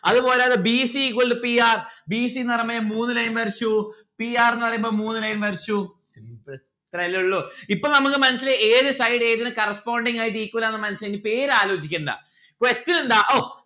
അത് പോലെ അതാ B C is equal to P R. B C ന്ന്‌ പറയുമ്പോ ഞാനാളിതാ മൂന്ന് line വരച്ചു. P R ന്ന്‌ പറയുമ്പോ മൂന്ന് line വരച്ചു. ഇത്രേല്ലേ ഉള്ളു. ഇപ്പൊ നമ്മുക്ക് മനസ്സിലായി ഏത് side ഏതിന് corresponding ആയിട്ട് equal ആണെന്ന് മനസ്സിലായി. ഇനി പേർ ആലോചിക്കണ്ട